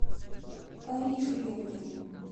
карише белкиной